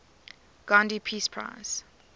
gandhi peace prize